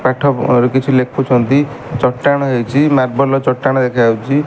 ପାଠ ପ କିଛି ଲେଖୁଛନ୍ତି ଚଟାଣ ହେଇଚି ମାର୍ବଲ ର ଚଟାଣ ଦେଖାଯାଉଛି।